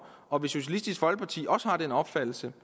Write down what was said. og hvis socialistisk folkeparti også har den opfattelse